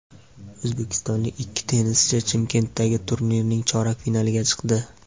O‘zbekistonlik ikki tennischi Chimkentdagi turnirning chorak finaliga chiqdi.